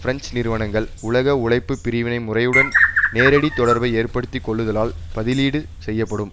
French நிறுவனங்கள் உலக உழைப்பு பிரிவினை முறையுடன் நேரடி தொடர்பை ஏற்படுத்தி கொள்ளுதலால் பதிலீடு செய்யப்படும்